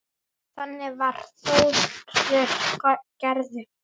Þannig var Þórir gerður.